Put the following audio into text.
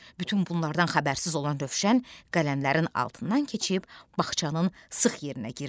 Bütün bunlardan xəbərsiz olan Rövşən qələmlərin altından keçib bağçanın sıx yerinə girdi.